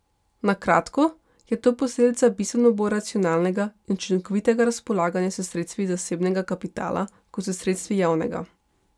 Na kratko je to posledica bistveno bolj racionalnega in učinkovitega razpolaganja s sredstvi zasebnega kapitala kot s sredstvi javnega.